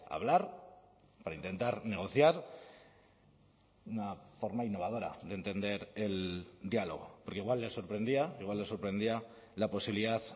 hablar para intentar negociar una forma innovadora de entender el diálogo porque igual les sorprendía igual les sorprendía la posibilidad